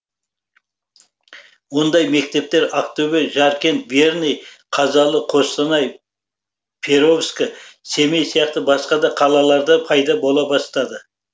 ондай мектептер ақтөбе жаркент верный қазалы қостанай перовск семей сияқты басқа да қалаларда пайда бола бастады